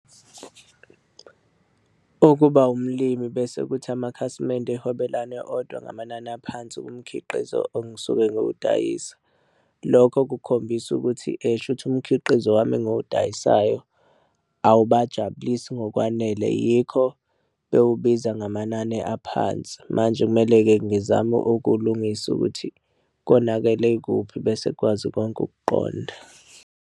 Ukuba umlimi bese kuthi amakhasimende ehwebelane odwa ngamanani aphansi kumkhiqizo engisuke ngiyawudayisa. Lokho kukhombisa ukuthi shuthi umkhiqizo wami engiwudayisayo awubajabulisi ngokwanele yikho bewubiza ngamanani aphansi. Manje kumele-ke ngizame ukulungisa ukuthi konakele kuphi bese kukwazi konke ukuqonda.